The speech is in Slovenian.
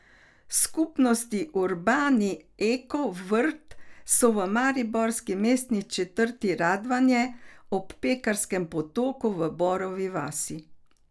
Skupnostni urbani eko vrt so v mariborski mestni četrti Radvanje, ob Pekarskem potoku v Borovi vasi.